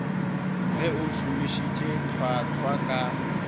ge o šomišitše hlwahlwa ka